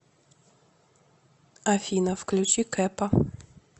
афина включи кэпа